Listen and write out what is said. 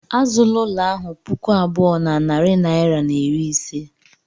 Azụla ụlọ ahụ puku abụọ na narị naira na iri ise.